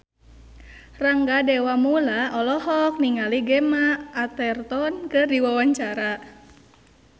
Rangga Dewamoela olohok ningali Gemma Arterton keur diwawancara